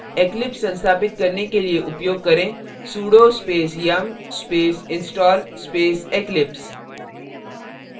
eclipse संस्थापित करने के लिए उपयोग करें sudo space yum space install space eclipse